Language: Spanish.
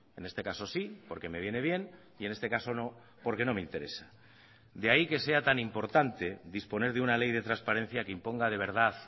en este caso sí porque me viene bien y en este caso no porque no me interesa de ahí que sea tan importante disponer de una ley de transparencia que imponga de verdad